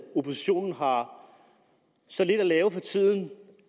oppositionen har så lidt at lave for tiden